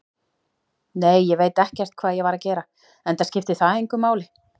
Nei, ég veit ekkert hvað ég var að gera, enda skiptir það engu máli.